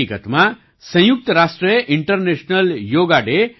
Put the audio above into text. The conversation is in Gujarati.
હકિકતમાં સંયુક્ત રાષ્ટ્રએ ઇન્ટરનેશનલ યોગા ડે